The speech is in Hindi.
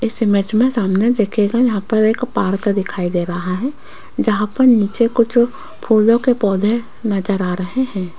इस इमेज में सामने देखिएगा यहां पर एक पार्क दिखाई दे रहा है जहां पर नीचे कुछ फूलों के पौधे नजर आ रहे हैं।